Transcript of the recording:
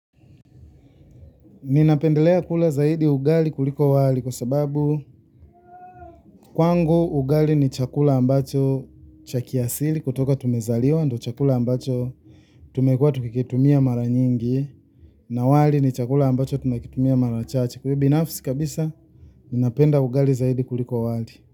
Ninapendelea kula zaidi ugali kuliko wali kwa sababu, kwangu ugali ni chakula ambacho chaki asili kutoka tumezaliwa ndo chakula ambacho tumekua tukikitumia mara nyingi na wali ni chakula ambacho tunakitumia mara chache kwa binafisi kabisa ninapenda ugali zaidi kuliko wali.